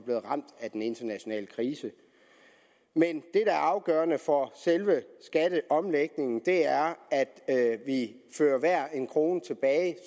blevet ramt af den internationale krise men det der er afgørende for selve skatteomlægningen er at at vi fører hver en krone tilbage